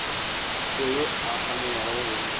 fe yo a kganyogago go